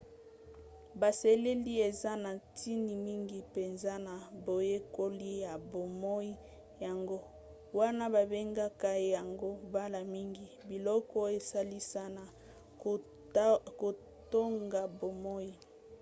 baselile eza na ntina mingi mpenza na boyekoli ya bomoi yango wana babengaka yango mbala mingi biloko esalisa na kotonga bomoi